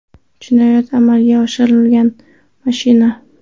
Jinoyat amalga oshirilgan mashina.